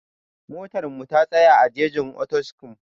Motar mu ta tsaya a jejin Potiskum